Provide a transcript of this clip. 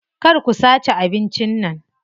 Kar ku sace abincin nan.